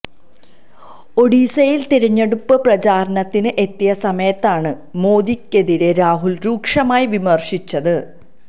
ഒഡീഷയില് തിരഞ്ഞെടുപ്പ് പ്രചാരണത്തിന് എത്തിയ സമയത്താണ് മോദിക്കെതിരെ രാഹുല് രൂക്ഷമായി വിമര്ശിച്ചത്